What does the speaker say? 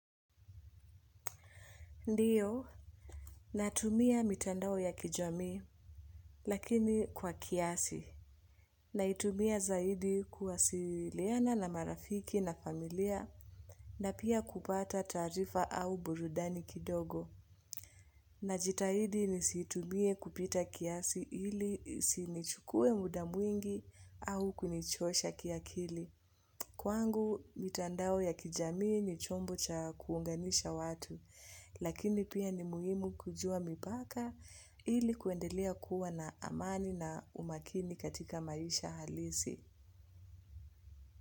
Ndio, natumia mitandao ya kijamii lakini kwa kiasi. Naitumia zaidi kuwasiliana na marafiki na familia na pia kupata taarifa au burudani kidogo. Najitahidi nisiitumie kupita kiasi ili isinichukue muda mwingi au kunichosha kiakili. Kwangu, mitandao ya kijamii ni chombo cha kuunganisha watu, lakini pia ni muhimu kujua mipaka ili kuendelea kuwa na amani na umakini katika maisha halisi.